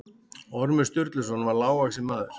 Ormur Sturluson var lágvaxinn maður.